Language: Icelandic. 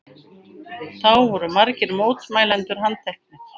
Þá voru margir mótmælendur handteknir